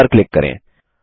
save पर click करें